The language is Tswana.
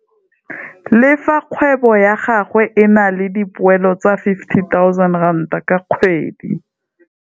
Le fa kgwebo ya gagwe e na le dipoelo tsa R50 000 ka kgwedi,